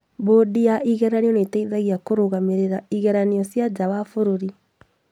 Mbũndi ya igeranio nĩteithagia kũrũgamĩrĩra igeranio cia nja wa bũrũri